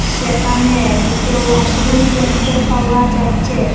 সেখানে দুটো ওয়াশরুম দেখতে পাওয়া যাচ্ছে।